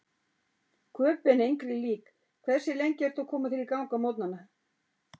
Köben engri lík Hversu lengi ertu að koma þér í gang á morgnanna?